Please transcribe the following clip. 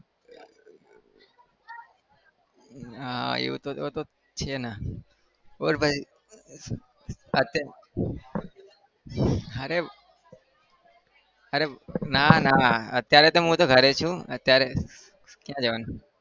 હા એવું તો છે ના બોલ ભાઈ અત્યારે અરે અરે ના ના અત્યારે તો હું તો ઘરે જ છુ અત્યારે ક્યાં જવાનું?